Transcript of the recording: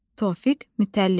Tofiq Mütəllibov.